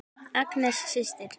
Agnes systir.